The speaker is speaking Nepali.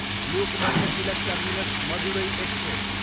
Lokmanya Tilak terminus, Madurai express